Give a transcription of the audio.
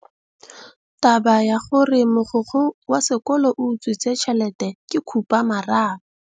Taba ya gore mogokgo wa sekolo o utswitse tšhelete ke khupamarama.